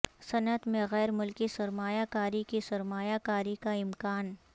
صنعت میں غیر ملکی سرمایہ کاری کی سرمایہ کاری کا امکان